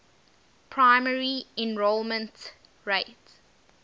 primary enrollment rate